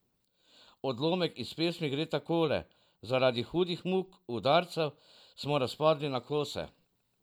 Odlomek iz pesmi gre takole: "Zaradi hudih muk, udarcev, smo razpadli na kose.